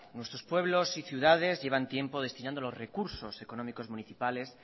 nuestros pueblos y ciudades llevan tiempo destinando los recursos económicos municipales